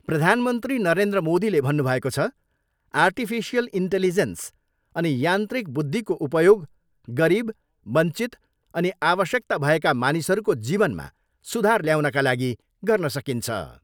प्रधानमन्त्री नरेन्द्र मोदीले भन्नुभएको छ, आर्टिफिसियल इन्टेलिजेन्स अनि यान्त्रिक बुद्धिको उपयोग गरिब, वञ्चित अनि आवश्यकता भएका मानिसहरूको जीवनमा सुधार ल्याउनका लागि गर्न सकिन्छ।